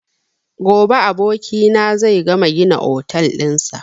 Gobe abokina zai gama gina otel ɗin sa